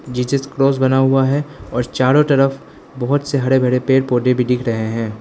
जीजेस cross बना हुआ है और चारों तरफ बहुत से हर भरे पेड़ पौधे भी दिख रहे हैं।